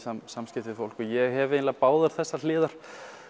samskiptum við fólk og ég hef eiginlega báðar þessar hliðar